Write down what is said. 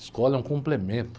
Escola é um complemento.